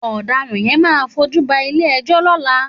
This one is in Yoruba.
Òdàrán yèn má fójúbà ilé èjò lòlá